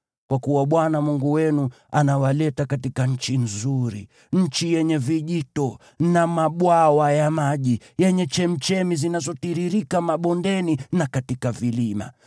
Kwa kuwa Bwana Mungu wenu anawaleta katika nchi nzuri, nchi yenye vijito na mabwawa ya maji, yenye chemchemi zinazotiririka mabondeni na katika vilima;